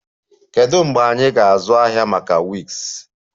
Kedu mgbe anyị ga-azụ ahịa maka wigs?